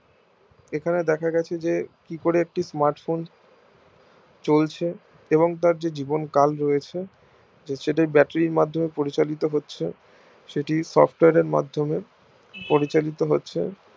এখানে দেখা যাচ্ছে যে কি করে একটি smart phone চলছে এবং তার জেজিবন কাল রয়েছে সেটা ওই batarie র মাধ্যমে পরিচালিত হচ্ছে সেটি software এর মাধ্যমে পরিচালিত হচ্ছে